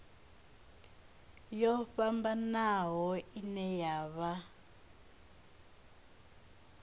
yo fhambanaho ine ya vha